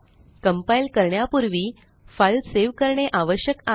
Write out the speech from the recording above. compile करण्यापूर्वी file save करणे आवश्यक आहे